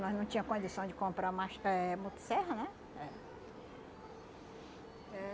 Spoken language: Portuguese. Nós não tinha condição de comprar mach eh motosserra, né?